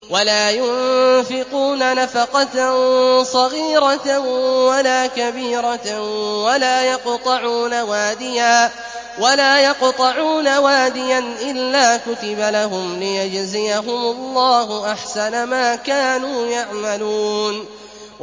وَلَا يُنفِقُونَ نَفَقَةً صَغِيرَةً وَلَا كَبِيرَةً وَلَا يَقْطَعُونَ وَادِيًا إِلَّا كُتِبَ لَهُمْ لِيَجْزِيَهُمُ اللَّهُ أَحْسَنَ مَا كَانُوا يَعْمَلُونَ